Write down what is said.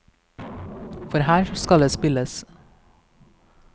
For her skal det spilles!